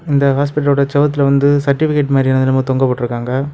இந்த ஹாஸ்பிட்லோட செவத்துல வந்து சர்டிபிகேட மாதிரி என்னமொ தொங்க விட்டுருக்காங்க.